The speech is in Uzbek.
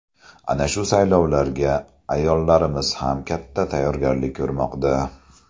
Ana shu saylovlarga ayollarimiz ham katta tayyorgarlik ko‘rmoqda.